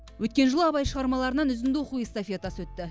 өткен жылы абай шығармаларынан үзінді оқу эстафетасы өтті